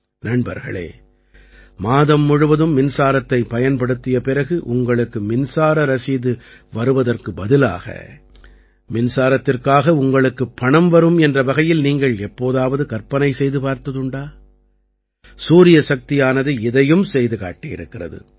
நண்பர்களே மாதம் முழுவதும் மின்சாரத்தைப் பயன்படுத்திய பிறகு உங்களுக்கு மின்சார ரசீது வருவதற்கு பதிலாக மின்சாரத்திற்காக உங்களுக்குப் பணம் வரும் என்ற வகையில் நீங்கள் எப்போதாவது கற்பனை செய்து பார்த்ததுண்டா சூரியசக்தியானது இதையும் செய்து காட்டியிருக்கிறது